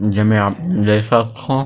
जेमे आप देख सकथव--